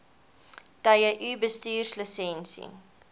tye u bestuurslisensie